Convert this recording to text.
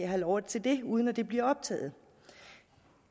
have lov til det uden at det bliver optaget